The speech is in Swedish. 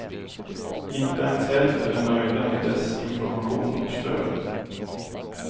Inte ens hälften är nöjda med dess information och stöd.